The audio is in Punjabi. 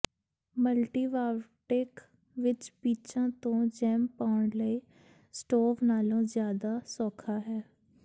ਮਲਟੀਵਾਵਰਟੈਕ ਵਿਚ ਪੀਚਾਂ ਤੋਂ ਜੈਮ ਪਾਉਣ ਲਈ ਸਟੋਵ ਨਾਲੋਂ ਜ਼ਿਆਦਾ ਸੌਖਾ ਹੈ